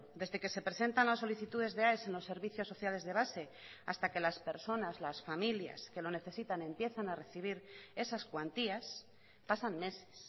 desde que se presentan las solicitudes de aes en los servicios sociales de base hasta que las personas las familias que lo necesitan empiezan a recibir esas cuantías pasan meses